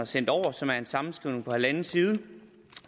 sendt over og som er en sammenskrivning på halvanden side